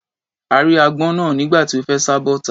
A rí agbọ́n náà nígbà tí ó fẹ́ sá bọ́ta.